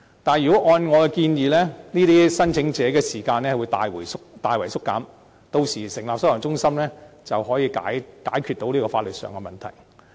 但是，如果按我的建議，這些聲請者的輪候時間會大大縮短，屆時成立收容中心，便可以解決到這個法律上的問題。